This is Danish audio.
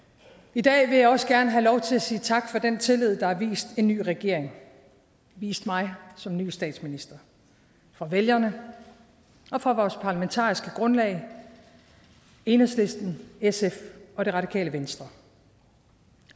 i dag vil jeg også gerne have lov til at sige tak for den tillid der er vist en ny regering vist mig som ny statsminister fra vælgerne og fra vores parlamentariske grundlag enhedslisten sf og det radikale venstre